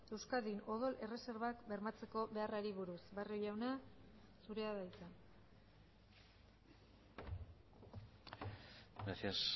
euskadin odol erreserbak bermatzeko beharrari buruz barrio jauna zurea da hitza gracias